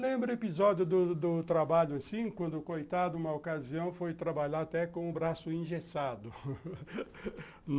Lembro episódio do do trabalho assim, quando coitado uma ocasião foi trabalhar até com o braço engessado.